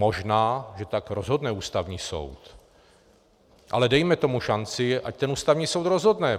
Možná že tak rozhodne Ústavní soud, ale dejme tomu šanci, ať ten Ústavní soud rozhodne.